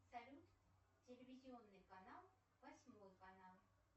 салют телевизионный канал восьмой канал